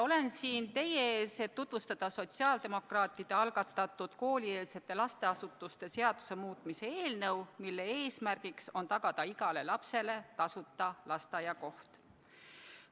Olen siin teie ees, et tutvustada sotsiaaldemokraatide algatatud koolieelse lasteasutuse seaduse muutmise seaduse eelnõu, mille eesmärk on tagada igale lapsele tasuta lasteaiakoht.